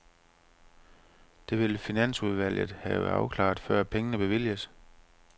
Det vil finansudvalget have afklaret, før pengene bevilges.